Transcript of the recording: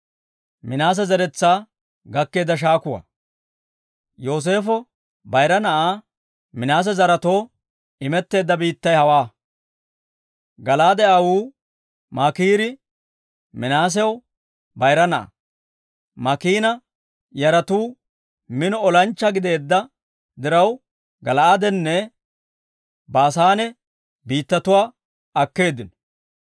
Yooseefo bayira na'aa Minaase zaretoo imetteedda biittay hawaa. Gala'aade aawuu Maakiiri Minaasew bayira na'aa; Maakiina yaratuu mino olanchchaa gideedda diraw, Gala'aadenne Baasaane biittatuwaa akkeeddino.